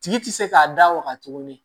Tigi tɛ se k'a da waga tuguni